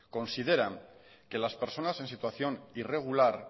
consideran que las personas en situación irregular